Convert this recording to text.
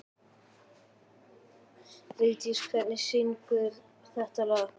Vigdís, hver syngur þetta lag?